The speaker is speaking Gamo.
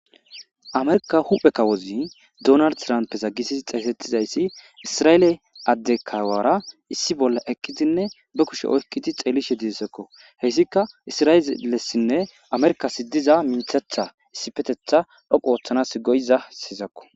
amerka huphe kawozi donar trampeza gisisi xeesettizayssi isra7eele adde kawara issi bolla ekkidinne be kushe oykkidi xeelishe didessekko heyssika isra7eeelessinne amerkasi diza minthatha issipetetha dhoqu ooththanas goyiza siyizakko